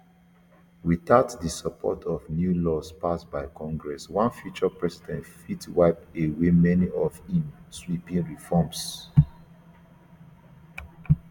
without di support of new laws passed by congress one future president fit wipe away many of im sweeping reforms